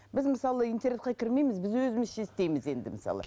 біз мысалы интернетке кірмейміз біз өзімізше істейміз енді мысалы